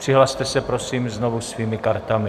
Přihlaste se prosím znovu svými kartami.